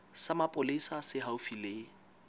sa mapolesa se haufi le